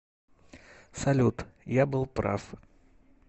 салют я был прав